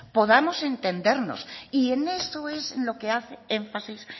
podamos entendernos y en eso es en lo que hace énfasis